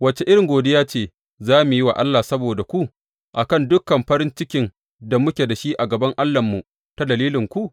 Wace irin godiya ce za mu yi wa Allah saboda ku a kan dukan farin cikin da muke da shi a gaban Allahnmu ta dalilinku?